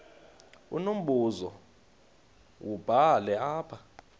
unombuzo wubhale apha